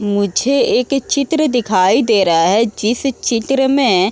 मुझे एक चित्र दिखाई दे रहा है जिस चित्र में --